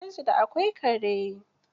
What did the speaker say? Gidansu da akwai kare?